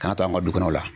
Kana to an ka du kɔnɔ